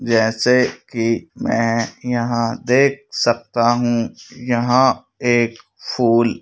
जैसे कि मैं यहाँ देख सकता हूं यहाँ एक फूल--